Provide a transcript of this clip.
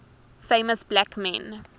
famous black men